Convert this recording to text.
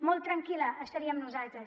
molt tranquils estaríem nosaltres